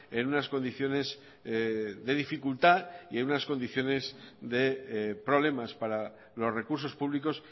en unas condiciones de dificultad y en unas condiciones de problemas para los recursos públicos